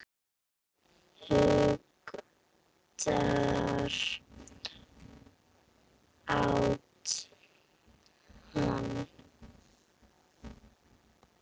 Hundur át hann.